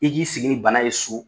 I k'i y'i sigi ni bana ye so